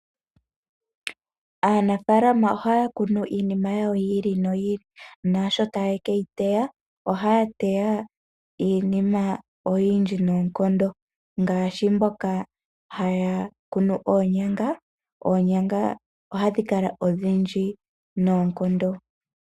Aanafaalama ohaya kunu iinima yawo yi ili noyi ili naasho taye ke yi teya, ohaya teya iinima oyindji noonkondo ngaashi mboka haya kunu oonyanga, oonyanga ohadhi kala odhindji noonkondo.